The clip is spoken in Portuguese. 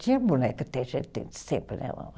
Tinha boneca, sempre, né?